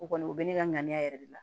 O kɔni o bɛ ne ka ŋaniya yɛrɛ de la